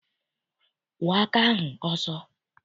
Kwọọ aka ahụ ọsọ!